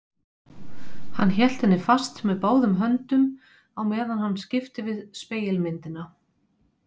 Hann hélt henni fast með báðum höndum á meðan hann skipti við spegilmyndina.